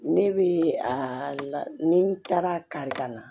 Ne bɛ a la ni n taara kari ka na